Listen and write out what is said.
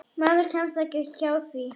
Maður kemst ekki hjá því.